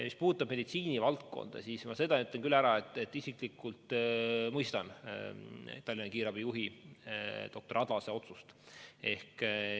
Mis puutub meditsiinivaldkonda, siis ma seda ütlen küll, et isiklikult ma mõistan Tallinna kiirabijuhi doktor Adlase otsust.